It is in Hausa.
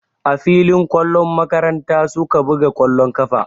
A filin ƙwallon makaranta su ka buga ƙwallon ƙafa.